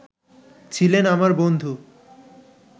ছিলেন আমার বন্ধু